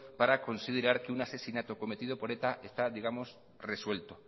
para considerar que un asesinato cometido por eta está digamos resuelto